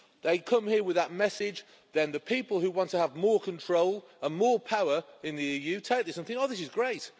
They come here with that message, then the people who want to have more control and more power in the EU take this and think, Oh, this is great